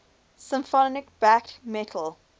symphonic black metal